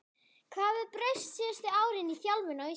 Hvað hefur breyst síðustu árin í þjálfun á Íslandi?